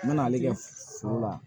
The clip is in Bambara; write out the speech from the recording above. N mɛna ale kɛ foro la